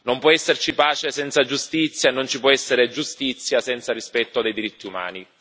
Non può esserci pace senza giustizia e non ci può essere giustizia senza rispetto dei diritti umani.